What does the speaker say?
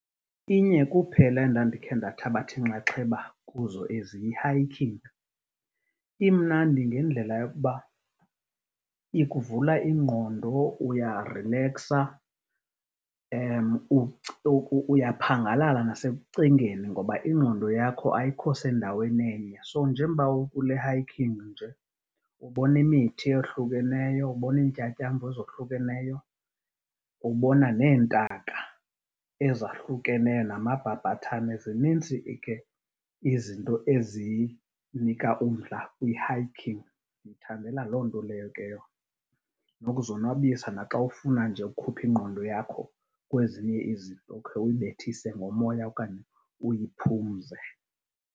Inye kuphela endandikhe ndathabatha inxaxheba kuzo ezi, yi-hiking. Imnandi ngendlela yokuba ikuvula ingqondo, uyarileksa uyaphangalala nasekucingeni ngoba ingqondo yakho ayikho sendaweni enye. So njengoba ukule hiking nje ubona imithi eyohlukeneyo, ubona iintyatyambo ezohlukeneyo, ubona neentaka ezahlukeneyo namabhabhathane. Zinintsi ke izinto ezinika umdla kwi-hiking. Ndiyithandela loo nto leyo ke yona, nokuzonwabisa naxa ufuna nje ukhupha ingqondo yakho kwezinye izinto, ukhe uyibethise ngomoya okanye uyiphumze.